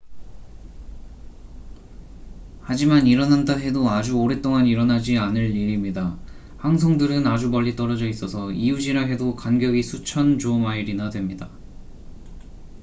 하지만 일어난다 해도 아주 오랫동안 일어나지 않을 일입니다 항성들은 아주 멀리 떨어져 있어서 이웃'이라 해도 간격이 수천 조 마일이나 됩니다